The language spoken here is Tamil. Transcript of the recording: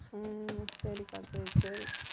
உம் சரிக்கா சரி, சரி